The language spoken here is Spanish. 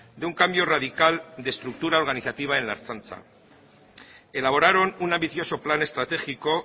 de un cambio radical de estructura organizativa en la ertzaintza elaboraron un ambicioso plan estratégico